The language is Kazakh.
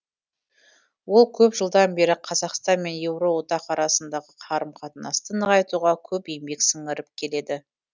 ол көп жылдан бері қазақстан мен еуроодақ арасындағы қарым қатынасты нығайтуға көп еңбек сіңіріп келеді